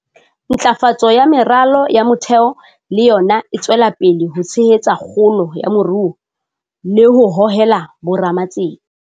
Ntlafatso ya meralo ya motheo le yona e tswela pele ho tshehetsa kgolo ya moruo le ho hohela bo ramatsete.